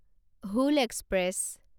Hul express